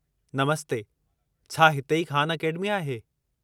नमस्ते, छा हिते ई ख़ान अकेडमी आहे?